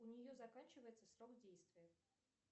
у нее заканчивается срок действия